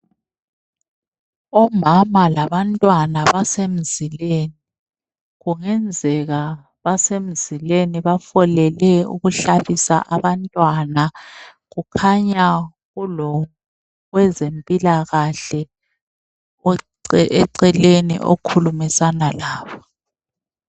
Omama labantwana basemzileni kungenzeka basemzileni bafolele ukuhlabisa abantwana kukhanya kulowezempila kahle eceleni okhulumisana labo